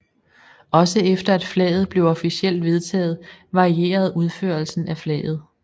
Også efter at flaget blev officielt vedtaget varierede udførelsen af flaget